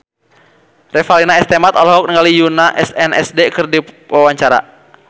Revalina S. Temat olohok ningali Yoona SNSD keur diwawancara